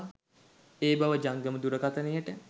ඒ බව ජංගම දුරකථනයට